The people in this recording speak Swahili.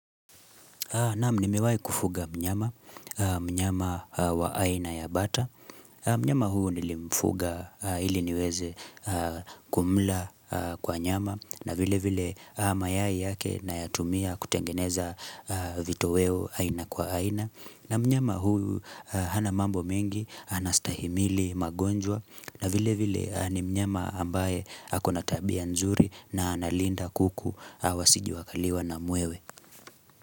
Naam nimewahi kufuga mnyama, mnyama wa aina ya bata, mnyama huu nilimfuga ili niwez kumla kwa nyama na vile vile mayai yake nayatumia kutengeneza vitoweo aina kwa aina na mnyama huyu hanamambo mengi, anastahimili magonjwa na vile vile ni mnyama ambaye hako natabia nzuri na analinda kuku, wasije wakaliwa na mwewe.